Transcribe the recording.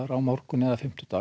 á morgun eða fimmtudag